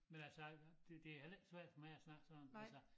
Men altså jeg det det heller ikke svært for mig at snakke sådan altså